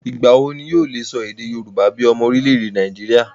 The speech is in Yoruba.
Ìgbà wo ni yóò le sọ èdè yorùbá bíi ọmọ orílẹ̀-èdè Nàìjíríà?